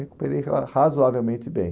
Recuperei ra razoavelmente bem.